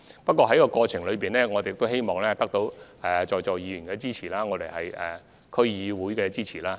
不過，在此過程中，我們亦希望得到在座議員和區議會的支持。